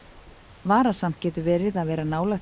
varasamt getur verið að vera nálægt